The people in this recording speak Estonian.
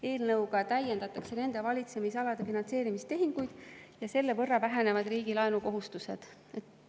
Eelnõuga täiendatakse nende valitsemisalade finantseerimistehinguid ja selle võrra vähenevad riigi laenukohustused.